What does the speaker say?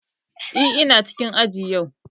Eh, ina cikin aji yau